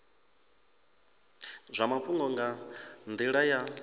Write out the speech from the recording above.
zwa mafhungo nga nila ya